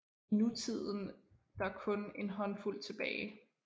I nutiden der kun en håndfuld tilbage